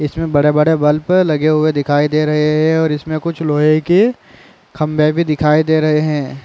इस में बड़े-बड़े बल्ब लगे हुए दिखाई दे रहे है और इसमें कुछ लोहे के खम्बे भी दिखाई दे रहे है।